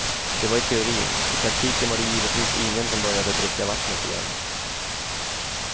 Det var i teorin, i praktiken var det givetvis ingen som började dricka vattnet igen.